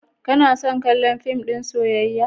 Kano son kallon fim ɗin soyayya?